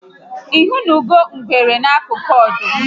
Ihụnụgo ngwere n'akụkụ ọdụm?